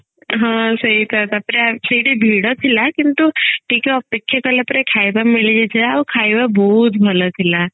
ହଁ ସେଇତ ତାପରେ ସେଇଠି ଭିଡ ଥିଲା କିନ୍ତୁ ଟିକେ ଅପେକ୍ଷା କଲା ପରେ ଖାଇବା ମିଳିଯାଇଥିଲା ଆଉ ଖାଇବା ବହୁତ ଭଲ ଥିଲା